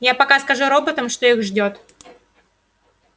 я пока скажу роботам что их ждёт